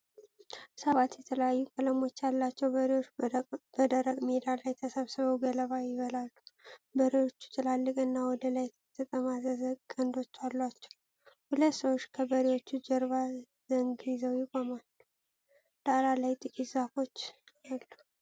ሰባት የተለያዩ ቀለሞች ያላቸው በሬዎች በደረቅ ሜዳ ላይ ተሰባስበው ገለባ ይበላሉ። በሬዎቹ ትላልቅና ወደ ላይ የተጠማዘዘ ቀንዶች አሏቸው። ሁለት ሰዎች ከበሬዎቹ ጀርባ ዘንግ ይዘው ቆመዋል። ዳራ ላይ ጥቂት ዛፎች አሉ።